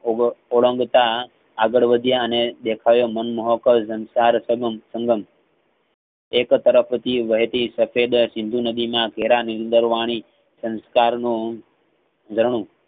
ઓગ ઓળનગતા અગળવધ્ય અને દેખાયે મન મોહકાલ સંસાર એક તરફથી વહેતી સફેદ સિંધુ નદીના ધેરાની નીદર વાણી સંસ્કારનો ધરનું